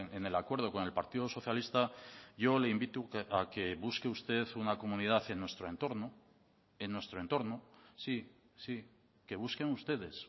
en el acuerdo con el partido socialista yo le invito a que busque usted una comunidad en nuestro entorno en nuestro entorno sí sí que busquen ustedes